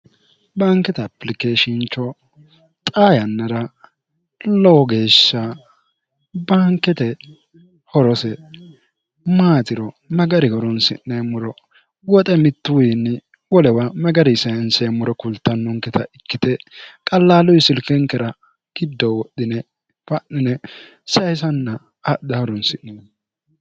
bankete aplikeeshincho xa yannara lowo geeshsha bankete horose maatiro magari horonsi'neemmoro woxe mittuwiinni wolewa magari sayinseemmuro kultannonketa ikkite qallaaluwi silkenkera giddo wodhine fa'nine sayisanna hadha horonsi'ne